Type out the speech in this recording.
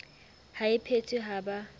ha e phethwe ha ba